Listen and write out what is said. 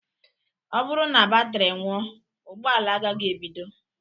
Ọ bụrụ na batri nwụọ, ụgbọala agaghị ebido